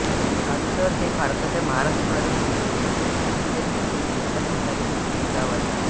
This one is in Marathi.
सांसर हे भारताच्या महाराष्ट्र राज्यातील पुणे जिल्ह्यातील इंदापूर तालुक्यातील एक गाव आहे